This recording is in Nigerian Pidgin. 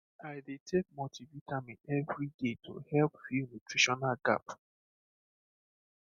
i dey take multivitamin every day to help fill nutritional gap